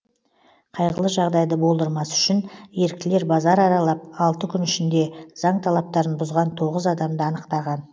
қайғылы жағдайды болдырмас үшін еріктілер базар аралап алты күн ішінде заң талаптарын бұзған тоғыз адамды анықтаған